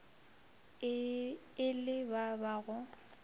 e le ba ba go